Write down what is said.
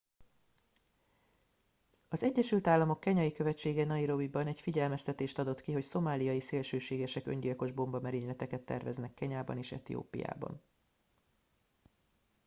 "az egyesült államok kenyai követsége nairobiban egy figyelmeztetést adott ki hogy "szomáliai szélsőségesek" öngyilkos bombamerényleteket terveznek kenyában és etiópiában.